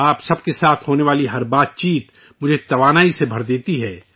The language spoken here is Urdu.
آپ سب کے ساتھ ہونے والی ہر گفتگو مجھے نئی توانائی سے بھر دیتی ہے